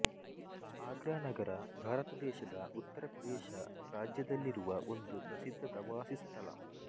ಆಗ್ರಾ ನಗರ ಭಾರತ ದೇಶದ ಉತ್ತರ ಪ್ರದೇಶ ರಾಜ್ಯದಲ್ಲಿರುವ ಒಂದು ಪ್ರಸಿದ್ಧ ಪ್ರವಾಸಿ ಸ್ಥಳ